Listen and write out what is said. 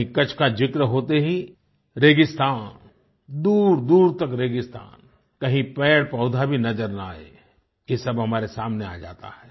वहीँ कच्छ का ज़िक्र होते ही रेगिस्तान दूरदूर तक रेगिस्तान कहीं पेड़पौधा भी नज़र ना आये ये सब हमारे सामने आ जाता है